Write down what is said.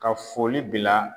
Ka foli bila.